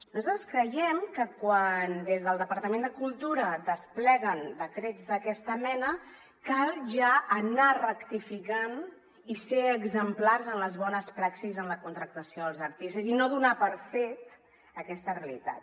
nosaltres creiem que quan des del departament de cultura despleguen decrets d’aquesta mena cal ja anar rectificant i ser exemplars en les bones praxis en la contractació dels artistes i no donar per fet aquesta realitat